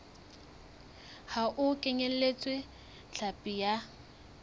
ha e kenyeletse hlapi ya